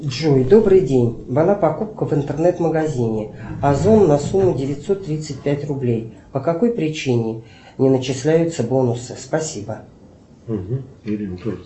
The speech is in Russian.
джой добрый день была покупка в интернет магазине озон на сумму девятьсот тридцать пять рублей по какой причине не начисляются бонусы спасибо